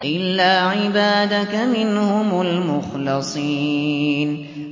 إِلَّا عِبَادَكَ مِنْهُمُ الْمُخْلَصِينَ